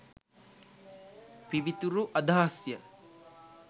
පිවිතුරු අදහස්ය.